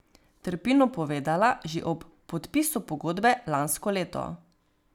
Trpinu povedala že ob podpisu pogodbe lansko leto.